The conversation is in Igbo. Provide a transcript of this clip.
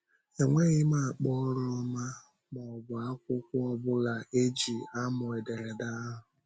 Enweghị m ákpà ọrụ ọma ma ọ bụ akwụkwọ ọ bụla e ji amụ ederede ahụ.